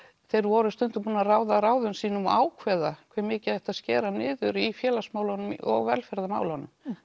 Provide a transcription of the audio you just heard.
þeir voru stundum búnir að ráða ráðum sínum og ákveða hve mikið ætti að skera niður í félagsmálunum og velferðarmálum